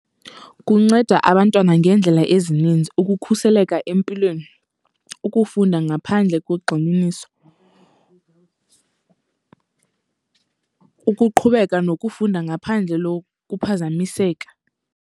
Kunceda abantwana ngeendlela ezininzi, ukukhuseleka empilweni, ukufunda ngaphandle kogxininiso, ukuqhubeka nokufunda ngaphandle kuphazamiseka.